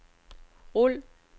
rul